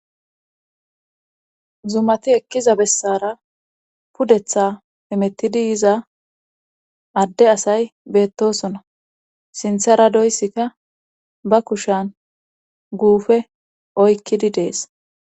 zumati ekkiza bessara pudetha pimettidi yiza adde asay beettosona sinthara doyssika ba kushan guufe oykkidi dees